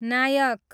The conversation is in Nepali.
नायक